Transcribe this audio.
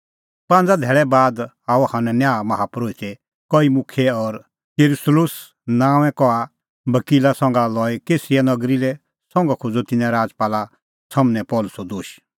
पांज़ा धैल़ै बाद आअ हनन्याह माहा परोहित कई मुखियै और तिरतुल्लुस नांओंए कहा बकीला संघा लई कैसरिया नगरी लै संघा खोज़अ तिन्नैं राजपाला सम्हनै पल़सीओ दोश